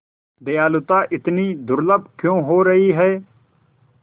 दयालुता इतनी दुर्लभ क्यों हो रही है